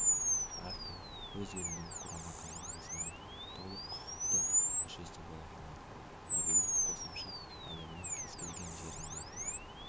әркім өз елінің құрама командасының толық құқықты мүшесі бола алады мобильдік қосымша әлемнің кез-келген жеріндегі